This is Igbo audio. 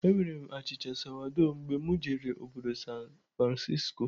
Enwere m achịcha sawado mgbe mụ jere obodo San Francisco